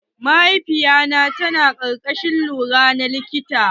Mahaifiya ta ta na karkashin lura na likita.